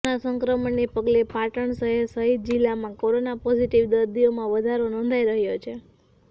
corona સંક્રમણને પગલે પાટણ શહેર સહિત જિલ્લામાં કોરોના પોઝિટિવ દર્દીઓમાં વધારો નોંધાઈ રહ્યો છે